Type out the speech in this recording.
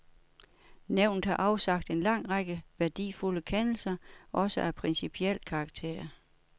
Nævnet har afsagt en lang række værdifulde kendelser, også af principiel karakter.